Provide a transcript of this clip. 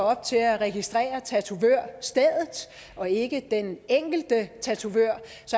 op til at registrere tatovørstedet og ikke den enkelte tatovør